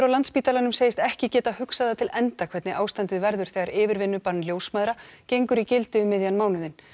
á Landspítalanum segist ekki getað hugsað það til enda hvernig ástandið verður þegar yfirvinnubann ljósmæðra gengur í gildi um miðjan mánuðinn